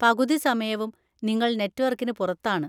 പകുതി സമയവും, നിങ്ങൾ നെറ്റ്‌വർക്കിന് പുറത്താണ്.